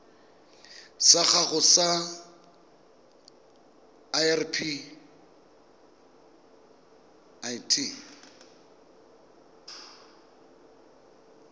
sa gago sa irp it